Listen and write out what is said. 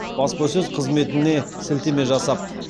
баспасөз қызметіне сілтеме жасап